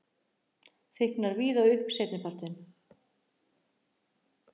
Þykknar víða upp seinnipartinn